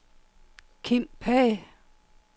Kim Pagh